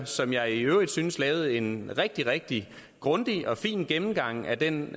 som jeg i øvrigt synes lavede en rigtig rigtig grundig og fin gennemgang af den